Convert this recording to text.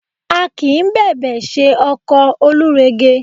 A kì í bẹ̀bẹ̀ ṣe ọkọ Olúrege